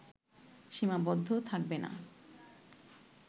সীমাবদ্ধ থাকবে না